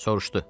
Soruşdu: